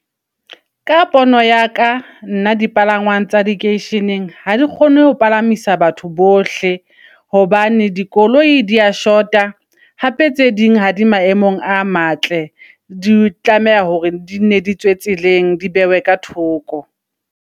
Ka pono ya ka nna dipalangwang tsa keisheneng, ha di kgone ho palamisa batho bohle hobane dikoloi di a shota. Hape tse ding ha di maemong a matle, di tlameha hore di ne di tswe tseleng. Di behwe ka thoko.